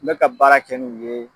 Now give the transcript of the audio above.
Me ka baara kɛ n'u ye